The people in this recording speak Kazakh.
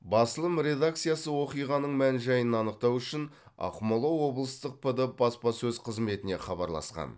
басылым редакциясы оқиғаның мән жайын анықтау үшін ақмола облыстық пд баспасөз қызметіне хабарласқан